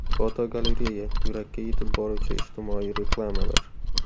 Fotogalereya: Yurakka yetib boruvchi ijtimoiy reklamalar.